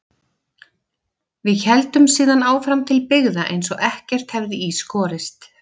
Við héldum síðan áfram til byggða eins og ekkert hefði í skorist.